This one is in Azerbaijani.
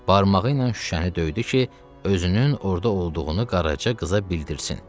Barmağı ilə şüşəni döydü ki, özünün orada olduğunu Qaraca qıza bildirsin.